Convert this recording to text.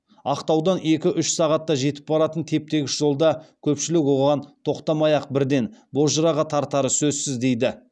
ақтаудан екі үш сағатта жетіп баратын теп тегіс жолда көпшілік оған тоқтамай ақ бірден бозжыраға тартары сөзсіз дейді